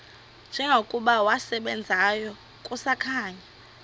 njengokuba wasebenzayo kusakhanya